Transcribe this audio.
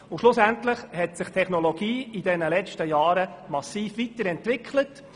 Schlussendlich hat sich die Technologie während der letzten Jahre massiv weiterentwickelt.